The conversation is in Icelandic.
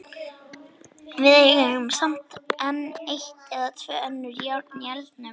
Við eigum samt enn eitt eða tvö önnur járn í eldinum.